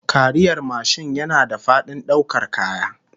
Kariyar mashin yana da fadin daukar kaya